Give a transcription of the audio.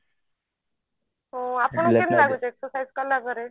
ଓ ଆପଣଙ୍କୁ କେମତି ଲାଗୁଛି exercise କଲା ପରେ